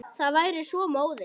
Það væri svo móðins.